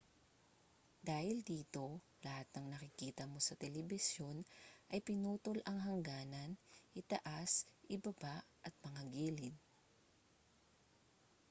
dahil dito lahat ng nakikita mo sa telebisyon ay pinutol ang hangganan itaas ibaba at mga gilid